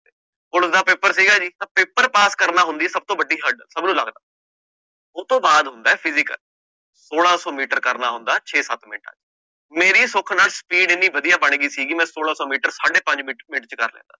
Police ਦਾ paper ਸੀਗਾ ਜੀ ਤਾਂ ਪੇਪਰ ਪਾਸ ਕਰਨਾ ਹੁੰਦੀ ਹੈ ਸਭ ਤੋਂ ਵੱਡੀ hurdle ਉਹ ਤੋਂ ਬਾਅਦ ਹੁੰਦਾ ਹੈ physical ਛੋਲਾਂ ਸੌ ਮੀਟਰ ਕਰਨਾ ਹੁੰਦਾ ਹੈ ਛੇ ਸੱਤ ਮਿੰਟ, ਮੇਰੀ ਸੁੱਖ ਨਾਲ speed ਇੰਨੀ ਵਧੀਆ ਬਣ ਗਈ ਸੀਗੀ ਮੈਂ ਛੋਲਾਂ ਸੌ ਮੀਟਰ ਸਾਢੇ ਪੰਜ ਮਿੰਟ ਮਿੰਟ ਚ ਕਰ ਲੈਂਦਾ।